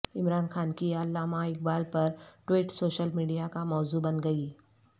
عمران خان کی علامہ اقبال پر tweet social media کا موضوع بن گئی